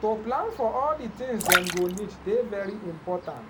to plan for all the tins dem go need dey very important.